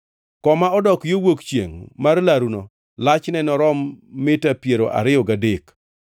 Koma odok yo wuok chiengʼ mar laruno lachne norom mita piero ariyo gadek.